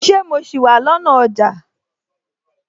Ṣé mo sì wà lọ́nà ọjà?